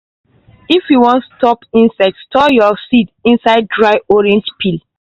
if you wan stop insects store your seeds inside dry orange peel.